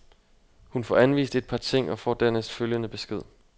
Hun får anvist et par ting og får dernæst følgende besked.